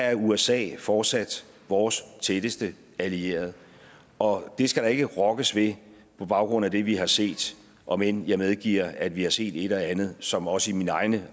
er usa fortsat vores tætteste allierede og det skal der ikke rokkes ved på baggrund af det vi har set om end jeg medgiver at vi har set et og andet som også i mine egne